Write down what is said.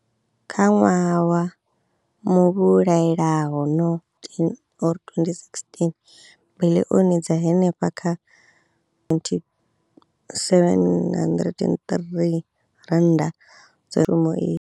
Kha ṅwaha wa muvhulaelano 2015,16, biḽioni dza henefha kha R703 dzi rumu iyi.